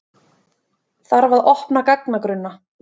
Þarf að opna gagnagrunna